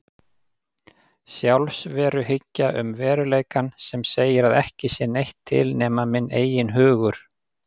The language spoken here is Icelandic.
Sjálfsveruhyggja um veruleikann sem segir að ekki sé neitt til nema minn eigin hugur.